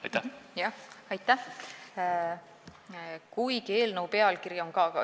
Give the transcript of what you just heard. Aitäh!